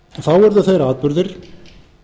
þá urðu þeir atburðir